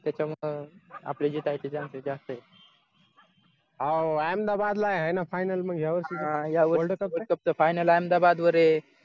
त्याच्यामुळे आपले जे काय ते chances जास्त येत हा यावर्षी world cup final अहमदावरये